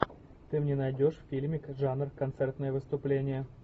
ты мне найдешь фильмик жанр концертное выступление